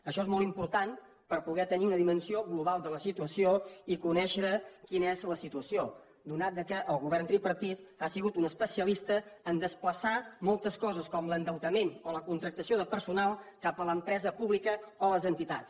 això és molt important per poder tenir una dimensió global de la situació i conèixer quina és la situació atès que el govern tripartit ha sigut un especialista a desplaçar moltes coses com l’endeutament o la contractació de personal cap a l’empresa pública o les entitats